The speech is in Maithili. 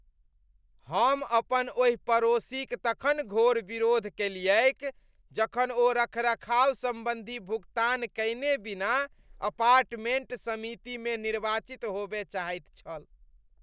हम अपन ओहि पड़ोसीक तखन घोर विरोध कएलियैक जखन ओ रखरखाव सम्बन्धी भुगतान कयने बिना अपार्टमेंट समितिमे निर्वाचित होबय चाहैत छल।